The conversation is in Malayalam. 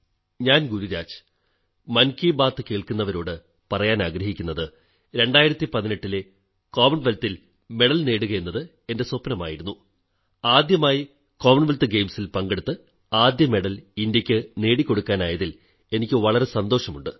ഞാൻ ഗുരുരാജ് മൻകീ ബാത് കേൾക്കുന്നവരോടു പറയാനാഗ്രഹിക്കുന്നത് 2018 ലെ കോമൺവെൽത്ത് ഗെയിംസിൽ മെഡൽ നേടുകയെന്നത് എന്റെ സ്വപ്നമായിരുന്നു ആദ്യമായി കോമൺ വെല്ത്ത് ഗെയിംസിൽ പങ്കെടുത്ത് ആദ്യമെഡൽ ഇന്ത്യയ്ക്ക് നേടിക്കൊടുക്കാനായതിൽ എനിക്കു വളരെ സന്തോഷമുണ്ട്